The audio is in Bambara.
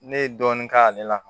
Ne ye dɔɔnin k'ale la